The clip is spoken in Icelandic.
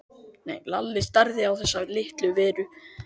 Lalli starði á þessa litlu veru.